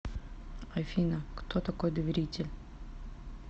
афина кто такой доверитель